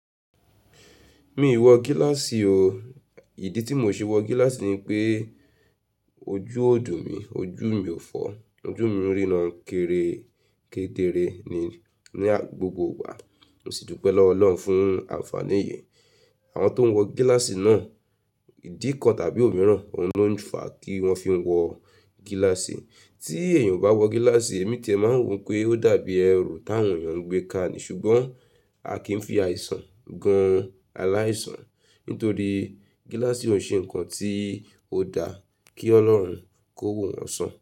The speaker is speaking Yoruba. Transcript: Mi ò wọ gíláàsì o. Ìdí tí mò ṣe wọ gíláàsì ni pé ojú òòdù mi, ojú mi ò fọ́, ojú mi ń rína kéere kéédere ní, ní gbogbo igbàá. Mo sì dúpẹ́ lọ́wọ́ Ọlọ́run fún àǹfààní yìí. Àwọn tó ń wọ gíláàsì náà, ìdí kan tàbí òmíràn, oun ló ń fà á kí wọ́n fi wọ gíláàsì. Tí èèyàn bá wọ gíláàsì ẹ̀mí tẹ máa wò pé ó dàbí ẹrù táwọn èèyàn ń gbé ka ni ṣùgbọ́n a kì í fi àìsàn gan-an aláìsàn. Nítorí gíláàsì ò ṣe nǹkan tí ó dá kí Ọlọ́run kó wò wọn sàn.